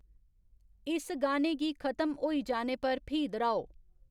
इस गाने गी खत्म होई जाने पर फ्ही दर्हाओ